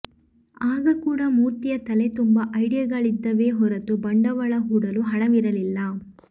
ಆಗ ಕೂಡ ಮೂರ್ತಿಯ ತಲೆ ತುಂಬ ಐಡಿಯಾಗಳಿದ್ದವೇ ಹೊರತು ಬಂಡವಾಳ ಹೂಡಲು ಹಣವಿರಲಿಲ್ಲ